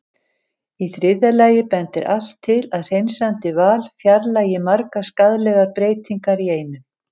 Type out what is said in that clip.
Í þriðja lagi bendir allt til að hreinsandi val fjarlægi margar skaðlegar breytingar í einu.